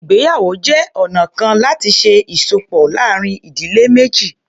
Ìgbéyàwó jẹ́ ọ̀na kan láti ṣe ìsopọ̀ láàárín ìdílé méjì.